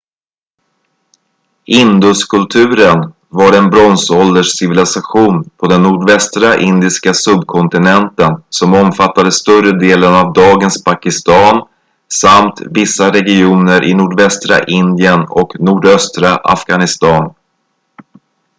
induskulturen var en bronsålderscivilisation på den nordvästra indiska subkontinenten som omfattade större delen av dagens pakistan samt vissa regioner i nordvästra indien och nordöstra afghanistan